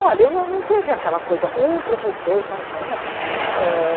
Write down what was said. Olha, eu não não teve aquela coisa, um professor paixão, não. Ah